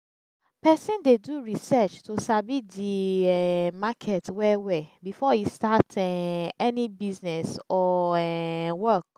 persin de do research to sabi the um market well well before e start um any business or um work